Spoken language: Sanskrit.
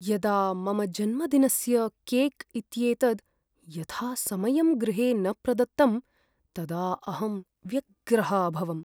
यदा मम जन्मदिनस्य केक् इत्येतद् यथासमयं गृहे न प्रदत्तं तदा अहं व्यग्रः अभवम्।